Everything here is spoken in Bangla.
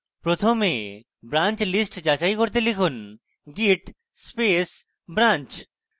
প্রথমে branch list যাচাই করতে লিখুন git space branch